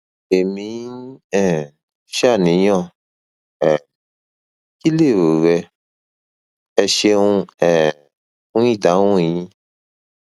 èmi ń um ṣàníyàn um kí lèrò rẹ ẹ ṣeun um fún ìdáhùn yín